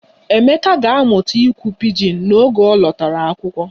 Emeka ga-amụta ikwu pijin n'oge ọ lọtara akwụkwọ